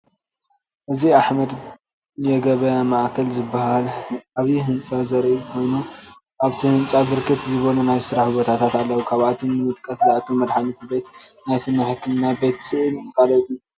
እዚ አሕመድ የገበያ መእከል ዝበሃል ዓብይ ህንፃ ዘርኢ ኮይኑ አብቲ ህንፃ ብርክት ዝበሉ ናይ ስራሕ ቦታታት አለዉ፡፡ ካብአቶም ንምጥቃስ ዝአክል መድሓኒት ቤት፣ ናይ ስኒ ሕክምና፣ ቤት ስእሊን ካልኦትን፡፡